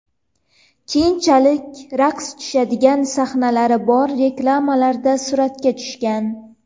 Keyinchalik raqs tushadigan sahnalari bor reklamalarda suratga tushgan.